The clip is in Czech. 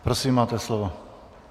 Prosím, máte slovo.